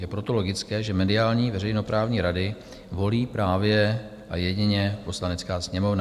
Je proto logické, že mediální veřejnoprávní rady volí právě a jedině Poslanecká sněmovna.